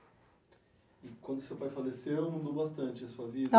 E quando seu pai faleceu, mudou bastante a sua vida?